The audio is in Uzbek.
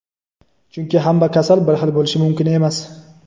Chunki hamma kasal bir xil bo‘lishi mumkin emas;.